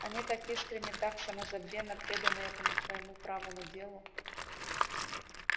они так искренне так самозабвенно преданы этому твоему правому делу